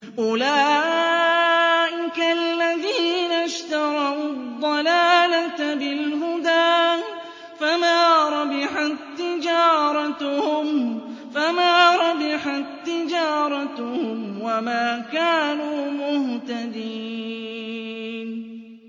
أُولَٰئِكَ الَّذِينَ اشْتَرَوُا الضَّلَالَةَ بِالْهُدَىٰ فَمَا رَبِحَت تِّجَارَتُهُمْ وَمَا كَانُوا مُهْتَدِينَ